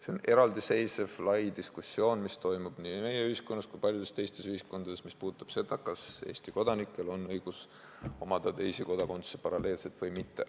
See on eraldiseisev laiaulatuslik diskussioon, mis toimub nii meie ühiskonnas kui paljudes teistes ühiskondades ja puudutab seda, kas Eesti kodanikel on õigus omada teisi kodakondsusi paralleelselt või mitte.